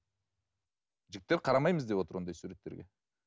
жігіттер қарамаймыз деп отыр ондай суреттерге